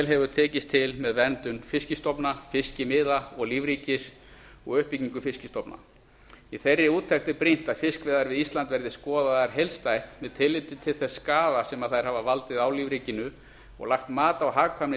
hefur tekist til með verndun fiskstofna fiskimiða og lífríkis og uppbyggingu fiskstofna í þeirri úttekt er brýnt að fiskveiðar við ísland verði skoðaðar heildstætt með tilliti til þess skaða sem þær hafa valdið á lífríkinu og lagt mat á hagkvæmni